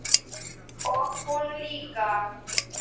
Og hún líka.